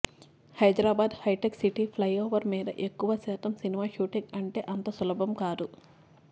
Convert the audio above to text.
హైదరాబాద్ హైటెక్ City flyover మీద ఎక్కువ శాతం సినిమా షూటింగ్ అంటే అంత సులభం కాదు